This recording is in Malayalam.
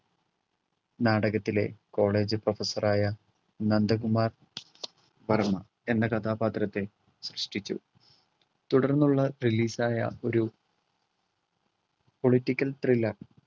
നാടകത്തിലെ college professor ആയ നന്ദകുമാർ വർമ്മ എന്ന കഥാപാത്രത്തെ സൃഷ്ടിച്ചു തുടർന്നുള്ള release ആയ ഒരു political thriller